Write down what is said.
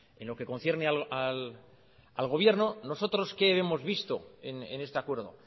en lo que concierne al gobierno nosotros qué hemos visto en este acuerdo